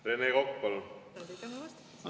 Rene Kokk, palun!